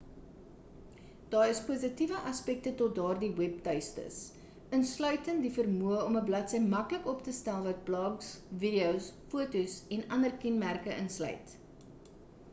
daai is positiewe aspekte tot daardie webtuistes insluitend die vermoë om 'n bladsy maklik op te stel wat blogs videos fotos en ander kenmerke insluit